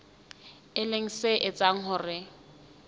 e leng se etsang hore